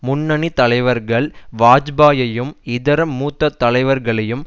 முன்னணி தலைவர்கள் வாஜ்பாயையும் இதர மூத்த தலைவர்களையும்